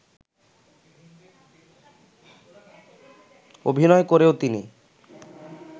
অভিনয় করেও তিনি